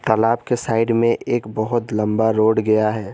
तालाब के साइड में एक बहुत लंबा रोड गया है।